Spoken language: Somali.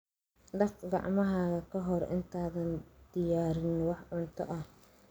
Dhaq gacmahaaga ka hor intaadan diyaarin wax cunto ah.